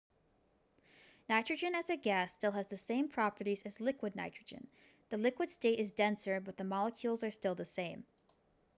nitrogen as a gas still has the same properties as liquid nitrogen the liquid state is denser but the molecules are still the same